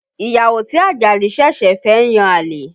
Ìyàwó tí Ajadi ṣẹ̀ṣẹ̀ fẹ́ ń yan àlè